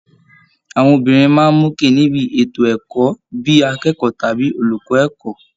Àwọn obìnrin máa ń mókè níbi ètò ẹ̀kọ́, bí i akẹ́kọ̀ọ́ tàbí olùkọ́ ẹ̀kọ́